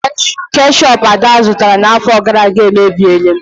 Keshup Ada zụtara n'afọ gara aga emebiela.